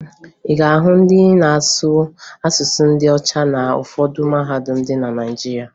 Ị ga-ahụ ndị na-amụ asụsụ ndị ọcha na ụfọdụ mahadum dị na Naịjirịa.